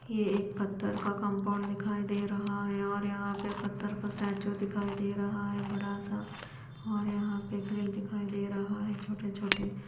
यह एक पत्थर का कंपाउंड दिखाई दे रहा है और यहां पे पत्थर का स्टैचू दिखाई दे रहा है बड़ा सा और यहां पे ग्रिल दिखाई दे रहा है छोटे-छोटे।